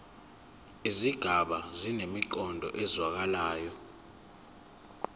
izigaba zinemiqondo ezwakalayo